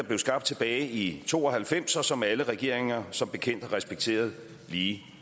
blev skabt tilbage i to og halvfems og som alle regeringer som bekendt har respekteret lige